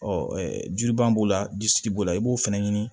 Ɔ jubaa b'o la disi b'o la i b'o fɛnɛ ɲini